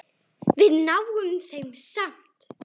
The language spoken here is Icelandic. Við náum þeim samt!